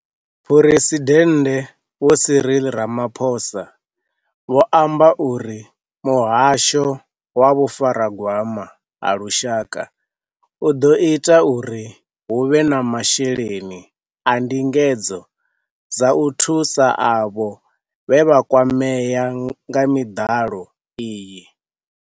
Phresidennde Vho Cyril Ramaphosa vho amba uri Muhasho wa Vhufaragwama ha Lushaka u ḓo ita uri hu vhe na masheleni a ndingedzo dza u thusa avho vhe vha kwamea nga miḓalo iyi.